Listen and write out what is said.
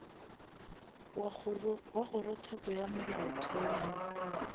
wa kgorotsheko ya molaotheo ge